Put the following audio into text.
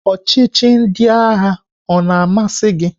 Ọchịchị ndị agha o na-amasị gị?